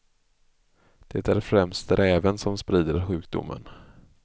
Det är främst räven som sprider sjukdomen.